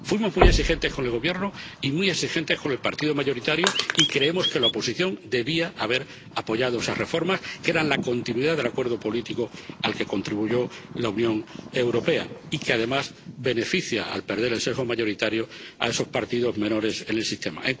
Fuimos muy exigentes con el Gobierno y muy exigentes con el partido mayoritario y creemos que la oposición debía haber apoyado esas reformas, que eran la continuidad del acuerdo político al que contribuyó la Unión Europea y que, además, benefician, al perder el sesgo mayoritario, a esos partidos menores en el sistema.